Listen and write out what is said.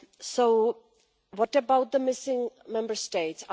So, what about the missing Member States?